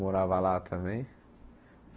Morava lá também.